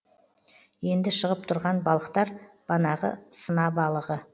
енді шығып тұрған балықтар банағы сына балығы